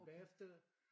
Bagefter